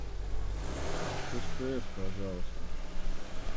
стс пожалуйста